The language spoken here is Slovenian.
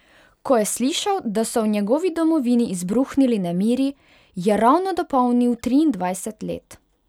Ko je slišal, da so v njegovi domovini izbruhnili nemiri, je ravno dopolnil triindvajset let.